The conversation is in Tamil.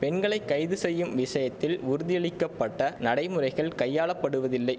பெண்களை கைது செய்யும் விஷயத்தில் உறுதியளிக்க பட்ட நடைமுறைகள் கையாளப்படுவதில்லை